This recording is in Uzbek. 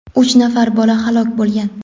uch nafar bola halok bo‘lgan.